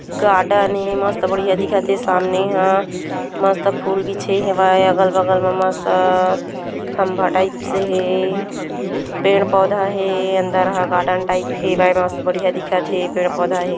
Garden ए मस्त बढ़िया दिखत ए सामने हा मस्त फुल बीछे हवय अगल-बगल मा मस्त खंभा टाइप्स से हे पेड़-पौधा हे अंदर ह गार्डन टाइप्स हे मस्त बढ़िया दिखत हे पेड़-पौधा हे।